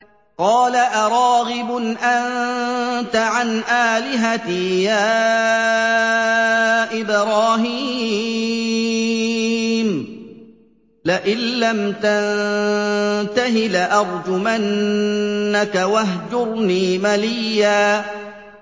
قَالَ أَرَاغِبٌ أَنتَ عَنْ آلِهَتِي يَا إِبْرَاهِيمُ ۖ لَئِن لَّمْ تَنتَهِ لَأَرْجُمَنَّكَ ۖ وَاهْجُرْنِي مَلِيًّا